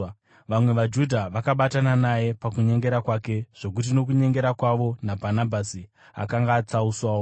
Vamwe vaJudha vakabatana naye pakunyengera kwake, zvokuti nokunyengera kwavo, naBhanabhasi akanga atsauswawo.